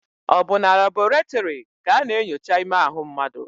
Ọ bụ na labọretịrị ka a na-enyocha ime ahụ mmadụ?